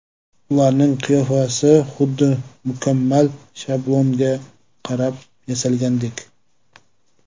Ularning qiyofasi xuddi mukammal shablonga qarab yasalgandek.